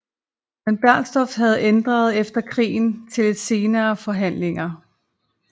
Men Bernstorff havde ændret efter krigen til efter senere forhandlinger